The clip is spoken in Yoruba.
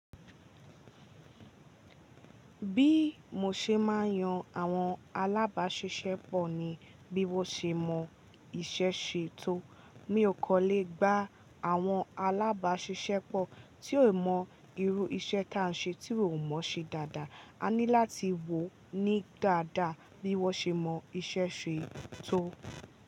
Bí mo ṣe máa yan àwọn alábàáṣiṣẹ́pọ̀ ni bí wọ́n ṣe mọ iṣẹ́ ṣe tó. Mi ò kọ́ lè gbá àwọn alábàáṣiṣẹ́pọ̀ tí ó mọ irú iṣẹ́ tá ń ṣe tí ó mọ̀ ṣe dáadáa. A ní láti wò ó ní dáadáa bí wọ́n ṣe mọ iṣẹ́ ṣe tó.